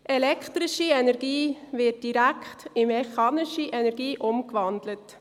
Elektrische Energie wird direkt in mechanische Energie umgewandelt.